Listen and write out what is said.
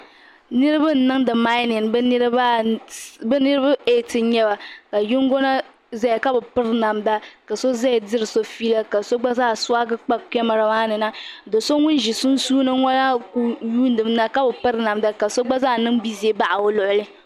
Niriba n nimdi maiyinin bi niriba ɛti n yɛba ka yino zaya ka bi piri namda ka ao zaya siri so feela ka so gba zaa suwagi kpa kamara maa ni na so ŋuni zi sunsuuni ŋɔ ku yuundi mi na ka bi piri namda ka so gba zaa niŋ bizɛ n baɣi o luɣili.